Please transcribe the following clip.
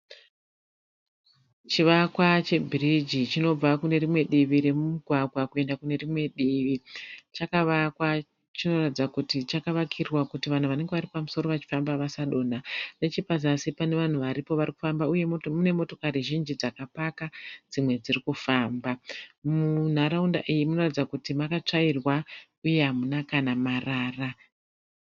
Chivakwa chebhirigi chinobva kune rimwe divi remugwagwa kuenda kune rimwe divi chakavakwa chinoratidza kuti chakavakirwa kuti vanhu vanenge vari pamusoro vachi famba vasadonha nechepazasi pane vanhu varipo varikufamba uye kune motokari zhinji dzakapaka dzimwe dzirikufamba munharaunda iyi munoratidza kuti makatsvairwa uye hamuna kana marara.